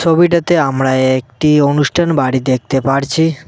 ছবিটাতে আমরা একটি অনুষ্ঠান বাড়ি দেখতে পারছি।